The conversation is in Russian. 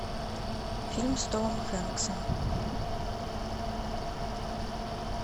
фильм с томом хэнксом